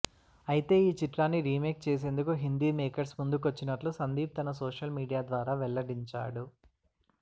అయితే ఈ చిత్రాన్ని రీమేక్ చేసేందుకు హిందీ మేకర్స్ ముందుకొచ్చినట్లు సందీప్ తన సోషల్ మీడియా ద్వారా వెల్లడించాడు